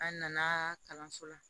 An nana kalanso la